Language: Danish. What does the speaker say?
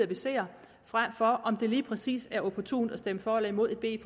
vi ser frem for om det lige præcis er opportunt at stemme for eller imod et